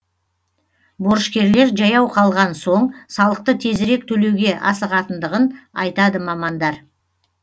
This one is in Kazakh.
борышкерлер жаяу қалған соң салықты тезірек төлеуге асығатындығын айтады мамандар